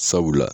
Sabula